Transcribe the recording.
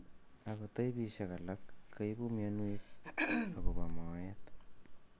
Ako taipisiek alak kaibu mionwek ak kobaa moet